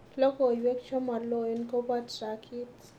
Logoywek chemaloen koba trakit